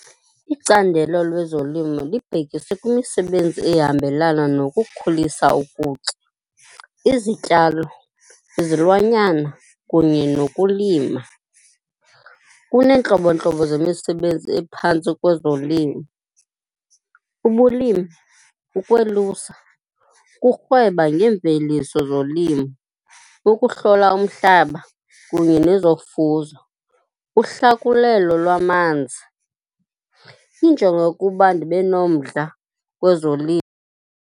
Icandelo lezolimo libhekise kwimisebenzi ehambelana nokukhulisa ukutya, izityalo, izilwanyana kunye nokulima. Kuneentlobontlobo zemisebenzi ephantsi kwezolimo, ubulimi, ukwelusa, urhweba ngemveliso zolimo, ukuhlola umhlaba kunye nezofuzo, uhlakulelwa lwamanzi. Injongo yokuba ndibe nomdla kwezolimo.